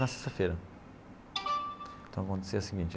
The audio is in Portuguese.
Na sexta-feira então acontecia o seguinte.